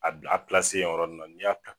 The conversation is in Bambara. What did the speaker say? A bla a o yɔrɔni na